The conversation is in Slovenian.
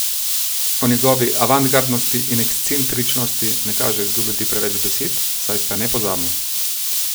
O njegovi avantgardnosti in ekscentričnosti ne kaže izgubljati preveč besed, saj sta nepozabni.